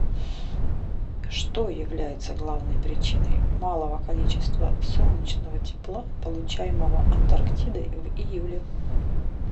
что является главной причиной малого количества солнечного тепла получаемого антарктидой в июле